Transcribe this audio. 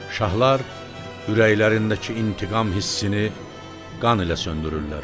Şahlar ürəklərindəki intiqam hissini qan ilə söndürürlər.